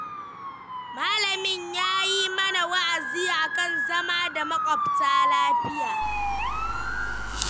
Malamin ya yi mana wa'azi a kan zama da maƙwabta lafiya.